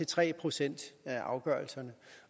tre procent af afgørelserne